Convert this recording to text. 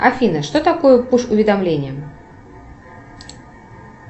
афина что такое пуш уведомления